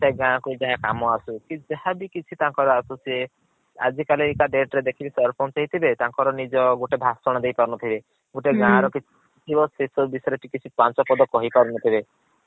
ସେ ଗାଁ କୁ ଯାହା କାମ ଆସୁ କି ଯାହା ବି କିଛି ତାଙ୍କର ଆସୁ ସିଏ ଆଜି କାଲି କା date ରେ ଦେଖିବେ ସରପଞ୍ଚ ହେଇଥିବେ ତାଙ୍କର ନିଜର ଗୋଟେ ଭାସଣ ଦେଇ ପାରୁ ନଥିବେ। ଗୋଟେ ଗାଁ ହୁଁ। ର କିଛି ଥିବ ସେସବୁ ବିସୟରେ ସେ କିଛି ପାଂଚ ପଦ କହି ପାରୁ ନଥିବେ